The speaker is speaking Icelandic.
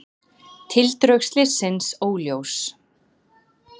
Tildrög slyssins óljós